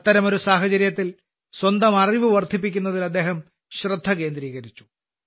അത്തരമൊരു സാഹചര്യത്തിൽ സ്വന്തം അറിവ് വർദ്ധിപ്പിക്കുന്നതിൽ അദ്ദേഹം ശ്രദ്ധ കേന്ദ്രീകരിച്ചു